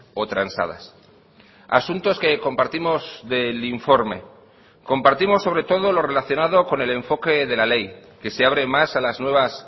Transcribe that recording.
o transadas asuntos que compartimos del informe compartimos sobre todo lo relacionado con el enfoque de la ley que se abre más a las nuevas